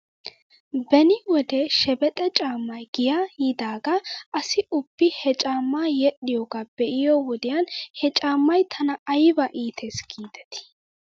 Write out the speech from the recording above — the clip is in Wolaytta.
Beni wode shebexe caamay giyaa yiidaagaa asi ubbi he caammaa yedhdhiyoogaa be'iyoo wodiyan he caamay tana ayba iites giidetii .